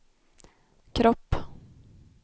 kropp